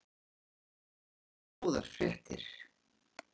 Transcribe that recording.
Það eru frekar góðar fréttir.